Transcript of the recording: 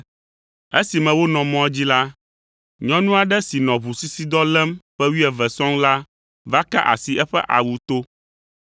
Esime wonɔ mɔa dzi la, nyɔnu aɖe si nɔ ʋusisidɔ lém ƒe wuieve sɔŋ la va ka asi eƒe awu to,